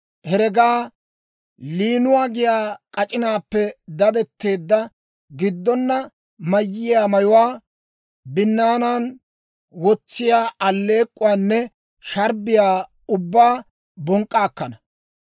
heregaa, liinuwaa giyaa k'ac'inaappe dadetteedda, giddona mayiyaa mayuwaa, binnaanan wotsiyaa alleek'k'uwaanne sharbbiyaa ubbaa bonk'k'a akkana.